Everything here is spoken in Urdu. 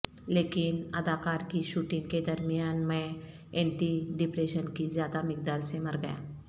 لیکن اداکار کی شوٹنگ کے درمیان میں اینٹی ڈپریشن کی زیادہ مقدار سے مر گیا